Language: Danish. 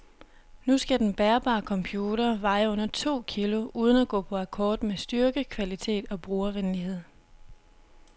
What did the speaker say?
Nu skal den bærbare computer veje under to kilo uden at gå på akkord med styrke, kvalitet og brugervenlighed.